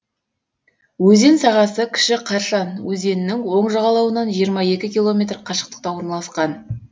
өзен сағасы кіші каршан өзенінің оң жағалауынан жиырма екі километр қашықтықта орналасқан